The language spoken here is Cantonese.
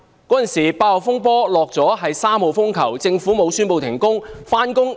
當時8號風球已除下，改掛3號風球，而政府沒有宣布停工。